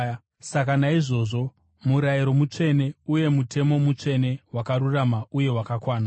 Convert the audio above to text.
Saka naizvozvo, murayiro mutsvene, uye mutemo mutsvene, wakarurama uye wakanaka.